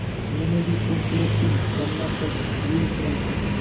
मीनू भी खूबसूरत थी लम्बा कद झील सी आंखें